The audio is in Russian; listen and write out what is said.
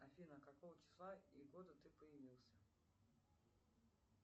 афина какого числа и года ты появился